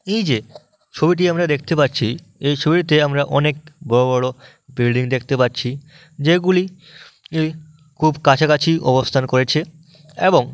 এইযেছবিটি আমরা দেখতে পাচ্ছিএই ছবিটিতে আমরা অনেকবড় বড় বিল্ডিং দেখতে পাচ্ছি যেগুলি এই খুব কাছাকাছি অবস্থান করেছে এবং--